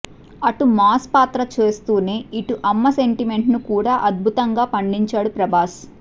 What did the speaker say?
అటు మాస్ పాత్ర చేస్తూనే ఇటు అమ్మ సెంటిమెంట్ ను కూడా అద్భుతంగా పండించాడు ప్రభాస్